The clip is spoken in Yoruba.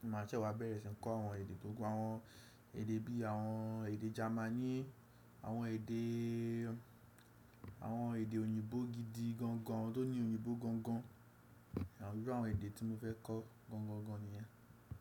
mo máa ṣẹ́ wá bẹ̀rẹ̀ sí n kọ́ àwọn èdè tó kún, àwọn èdè bí i àwọn èdè Jamani, àwọn èdè, àwọn èdè òyìnbó gidi gangan tó ní òyìnbó gangan. Àwọn bíru àwọn èdè tí mo fẹ́ kọ́ gangangan ni yẹn.